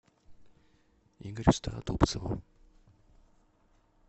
игорю стародубцеву